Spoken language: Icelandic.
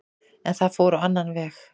En það fór á annan veg